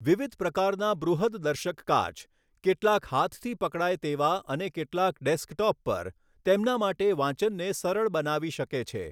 વિવિધ પ્રકારના બૃહદદર્શક કાચ, કેટલાક હાથથી પકડાય તેવા અને કેટલાક ડેસ્કટોપ પર, તેમના માટે વાંચનને સરળ બનાવી શકે છે.